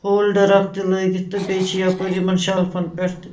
.folder اکھ تہِ لٲگِتھ تہٕ بیٚیہِ چھ یپٲرۍ یِمن شلفن پٮ۪ٹھ تہِ